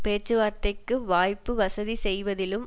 பேச்சுவார்த்தைக்கு வாய்ப்பு வசதி செய்வதிலும்